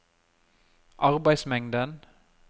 arbeidsmengden